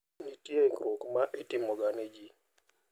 Nitie ikruok ma itimoga ne ji.